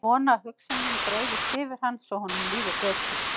Vona að hugsun mín breiðist yfir hann svo honum líði betur.